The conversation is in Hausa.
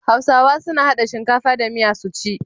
Hausawa suna hada shinkafa da miya su ci.